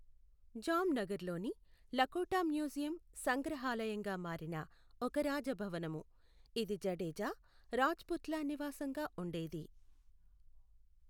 Jam నగర్లోని Lakhota museum సంగ్రహాలయంగా మారిన ఒక రాజభవనము, ఇది జడేజా రాజ్పుత్ల నివాసంగా ఉండేది.